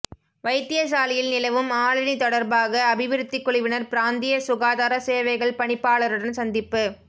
வைத்தியசாலையில் நிலவும் ஆளணி தொடர்பாக அபிவிருத்திக் குழுவினர் பிராந்திய சுகாதார சேவைகள் பணிப்பாளருடன் சந்திப்பு